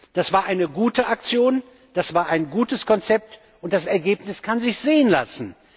Das war eine gute Aktion, das war ein gutes Konzept, und das Ergebnis kann sich sehen lassen!